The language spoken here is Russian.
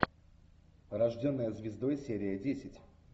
рожденная звездой серия десять